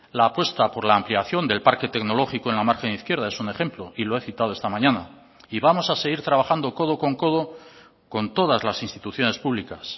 la apuesta por la ampliación del parque tecnológico en la margen izquierda es un ejemplo y lo he citado esta mañana y vamos a seguir trabajando codo con codo con todas las instituciones públicas